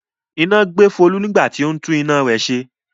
Iná gbé Folú nígbà tí ó ń tú iná rẹ̀ ṣe.